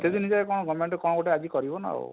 ଏତେ ଦିନି ଯାଏ କଣ govement କଣ ଗୋଟେ ଆଜି କରିବ ନା ଆଉ,